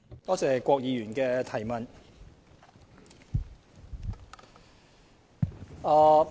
多謝郭議員的補充質詢。